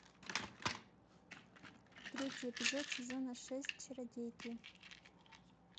третий эпизод сезона шесть чародейки